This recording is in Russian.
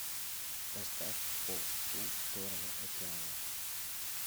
поставь по ту сторону океана